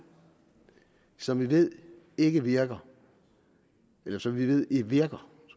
som vi ved ikke virker nej som vi ved virker